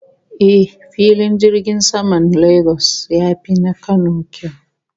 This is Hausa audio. Eh, Filin jirgin saman Lagos ya fi na Kano kyau